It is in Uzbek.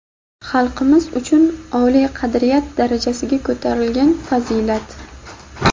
xalqimiz uchun oliy qadriyat darajasiga ko‘tarilgan fazilat!.